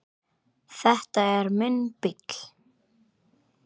Þetta er minn bíll.